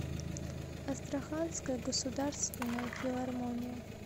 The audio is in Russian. астраханская государственная филармония